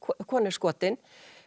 kona er skotin